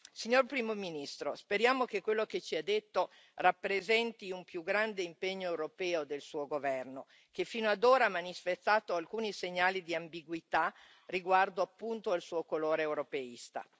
Signor Primo ministro, speriamo che quello che ci ha detto rappresenti un più grande impegno europeo del Suo governo, che fino ad ora ha manifestato alcuni segnali di ambiguità riguardo appunto al suo colore europeista.